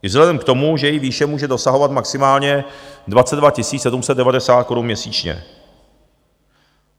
I vzhledem k tomu, že její výše může dosahovat maximálně 22 790 korun měsíčně.